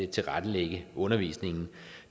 tilrettelægge undervisningen